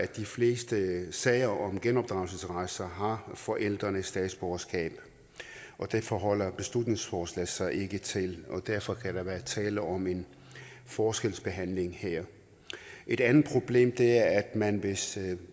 de fleste sager om genopdragelsesrejser har forældrene statsborgerskab og det forholder beslutningsforslaget sig ikke til og derfor kan der være tale om en forskelsbehandling her et andet problem er at man hvis